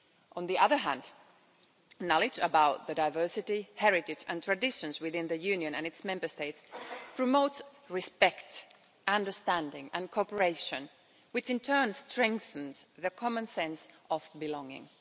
On the other hand, knowledge about the diversity, heritage and traditions within the Union and its Member States promotes respect, understanding and cooperation, which in turn strengthens the common sense of belonging.